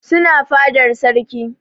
Suna fadar sarki